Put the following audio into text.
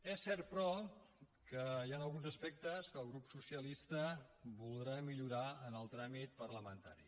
és cert però que hi han alguns aspectes que el grup socialista voldrà millorar en el tràmit parlamentari